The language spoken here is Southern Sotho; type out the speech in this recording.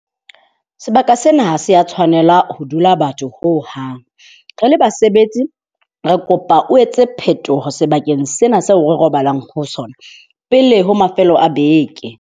Sebaka sena se a tshwanela ho dula batho hohang. Re le basebetsi, re kopa o etse phetoho sebakeng sena seo re robalang ho sona pele ho mafelo a beke.